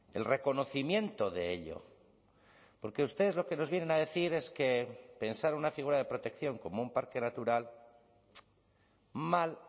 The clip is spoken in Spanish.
el reconocimiento de ello porque ustedes lo que nos vienen a decir es que pensar una figura de protección como un parque natural mal